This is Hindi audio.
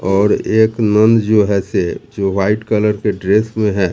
और एक नन जो है से जो व्हाइट कलर के ड्रेस में है।